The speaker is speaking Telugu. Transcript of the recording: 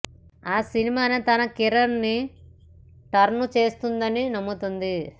ఆ సినిమానే తన కెరీర్ ని టర్న్ చేస్తుందని నమ్ముతుంది